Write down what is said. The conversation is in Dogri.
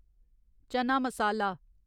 चना मसाला